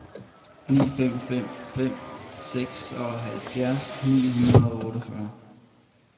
ni fem fem fem seksoghalvfjerds ni hundrede og otteogfyrre